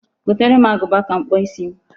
Gotere m agụba ka m kpụọ isi m.